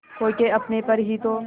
खो के अपने पर ही तो